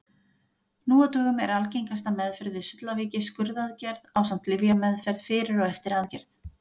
Nú á dögum er algengasta meðferð við sullaveiki skurðaðgerð ásamt lyfjameðferð fyrir og eftir aðgerð.